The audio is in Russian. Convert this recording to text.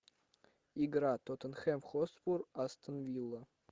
игра тоттенхэм хотспур астон вилла